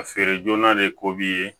A feere joona de ko b'i ye